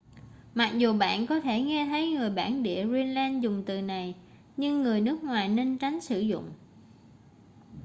mặc dù bạn có thể nghe thấy người bản địa greenland dùng từ này nhưng người nước ngoài nên tránh sử dụng